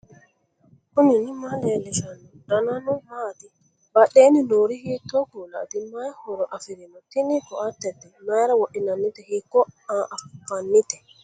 knuni maa leellishanno ? danano maati ? badheenni noori hiitto kuulaati ? mayi horo afirino ? tini koatete mayra wodhinannite hiikko anfannite